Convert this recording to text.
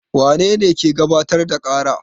Wane ne ke gabatar da ƙara?